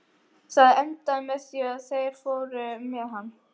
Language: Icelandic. Það endaði með því að þeir fóru með hann.